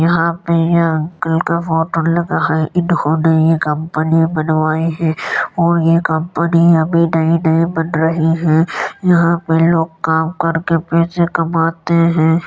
यहां पर यह कल का फ़ोटो लगा है | इन्होंने कंपनी बनवाई है और यह कंपनी अभी नई - नई बन रही है | यहां पर लोग काम करके पैसे कमाते हैं।